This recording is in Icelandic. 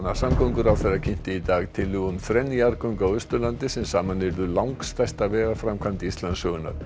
samgönguráðherra kynnti í dag tillögu um þrenn jarðgöng á Austurlandi sem saman yrðu langstærsta vegaframkvæmd Íslandssögunnar